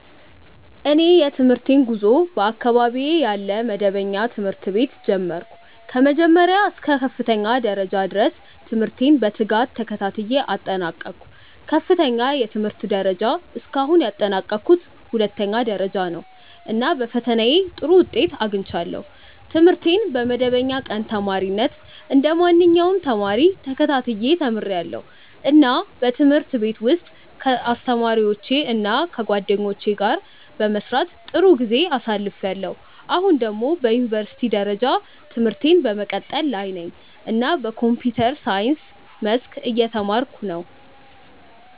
እኔ የትምህርቴን ጉዞ በአካባቢዬ ያለ መደበኛ ትምህርት ቤት ጀመርሁ። ከመጀመሪያ እስከ ከፍተኛ ደረጃ ድረስ ትምህርቴን በትጋት ተከታትዬ አጠናቀቅሁ። ከፍተኛው የትምህርት ደረጃ እስካሁን ያጠናቀቅሁት ሁለተኛ ደረጃ ነው፣ እና በፈተናዬ ጥሩ ውጤት አግኝቻለሁ። ትምህርቴን በመደበኛ ቀን ተማሪነት እንደ ማንኛውም ተማሪ ተከታትዬ ተምርያለሁ፣ እና በትምህርት ቤት ውስጥ ከአስተማሪዎቼ እና ከጓደኞቼ ጋር በመስራት ጥሩ ጊዜ አሳልፍያለሁ። አሁን ደግሞ በዩኒቨርሲቲ ደረጃ ትምህርቴን በመቀጠል ላይ ነኝ እና በኮምፒውተር ሳይንስ መስክ እየተማርኩ ነው።